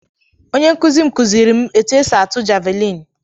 Onye nkụzi m kụziiri m etú esi atụ javeliini.